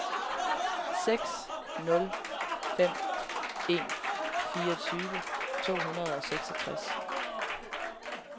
seks nul fem en fireogtyve to hundrede og seksogtres